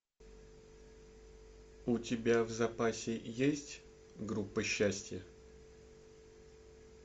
у тебя в запасе есть группа счастья